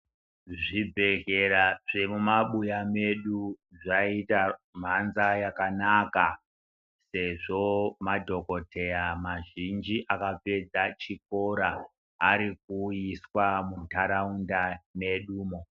Zvibhedhlera zvemumabhuya medu zvaita manza yakanaka sezvo madhokodheya mazhinji akapedza chikora arikuyiswa muntaraunda medumo.